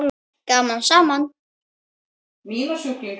Gaman saman!